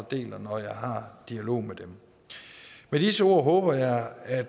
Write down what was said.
deler når jeg har dialog med dem med disse ord håber jeg at